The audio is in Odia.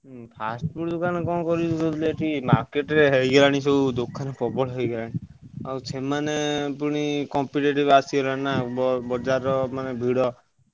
ଉଁ fast food ଦୋକାନ କଣ କରିବି market ରେ ହେଇଗଲାଣି ଦୋକାନ ପ୍ରବଳ ହେଇଗଲାଣି। ଆଉ ସେମାନେ ପୁଣି competitive ଅସିଗଲାଣିନା ବଜାରର ଭିଡ।